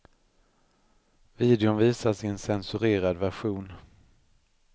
Videon visas i en censurerad version.